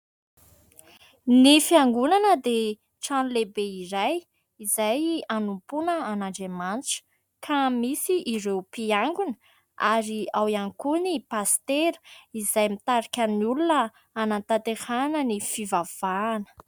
Ny fiangonana dia trano lehibe iray izay hanompoana an'Andriamanitra. Ka misy ireo mpiangona ary ao ihany koa ny pastera izay mitarika ny olona hanatanterahana ny fivavahana.